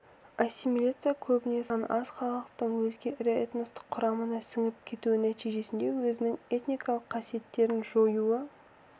ассимиляция көбіне саны аз халықтың өзге ірі этностың құрамына сіңіп кетуі нәтижесіне өзінің этникалық қасиеттерін жоюы